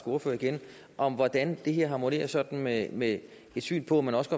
ordfører igen om hvordan det her harmonerer sådan med med et syn på at man også